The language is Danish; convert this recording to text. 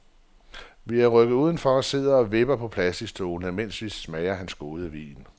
Vi er rykket udenfor og sidder og vipper på plasticstolene, mens vi smager hans gode vin.